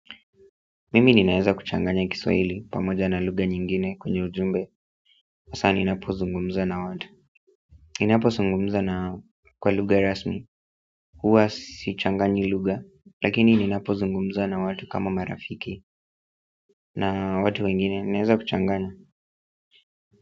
Mimi ninaeza kuchanganya kiswahili pamoja na lugha nyingine kwenye ujumbe hasa ninapozungumza na watu. Ninapozungumza na kwa lugha rasmi huwa sichanganyi lugha lakini ninapozunguza na watu kama marafiki na watu wengine wanaeza kuchanganya.